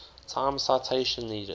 time citation needed